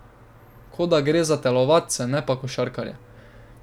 Kot da gre za telovadce, ne pa košarkarje.